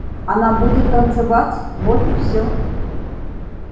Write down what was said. она будет танцевать вот и всё